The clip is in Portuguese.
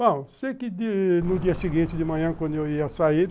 Bom, sei que no dia seguinte de manhã, quando eu ia sair,